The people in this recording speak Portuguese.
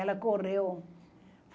Ela correu.